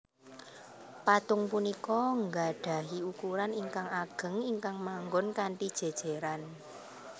Patung punika nggadhahi ukuran ingkang ageng ingkang manggon kanthi jéjéran